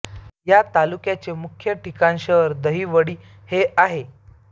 या तालुक्याचे मुख्य ठिकाण शहर दहिवडी हे आहे